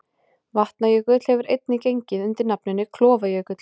Vatnajökull hefur einnig gengið undir nafninu Klofajökull.